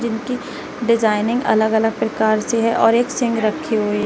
इनकी डिजाइनिंग अलग अलग प्रकार से है और एक सिंह रखी हुई--